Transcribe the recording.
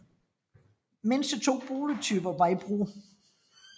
Mindst to boligtyper var i brug